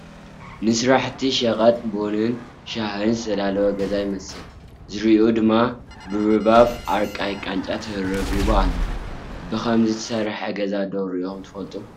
ንስራሕቲ ሸቐጥ ቡናን ሻሕን ዝተዳለወ ገዛ ይመስል፡፡ ዝርዩኡ ድማ ብርቡብ ኣርቃይ ቃንጫ ተረቢቡ ኣሎ፡፡ ብኸምዚ ዝተሰርሐ ገዛ ዶ ሪኢኹም ትፈልጡ?